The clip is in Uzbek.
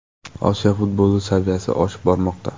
Osiyo futboli saviyasi oshib bormoqda.